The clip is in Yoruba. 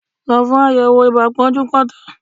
Lọ fún àyẹ̀wò ibà pọ́njúpọ́ntọ̀!